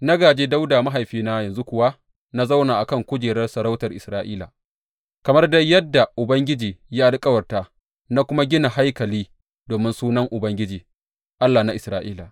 Na gāje Dawuda mahaifina yanzu kuwa na zauna a kan kujerar sarautar Isra’ila, kamar dai yadda Ubangiji ya alkawarta, na kuma gina haikali domin Sunan Ubangiji, Allah na Isra’ila.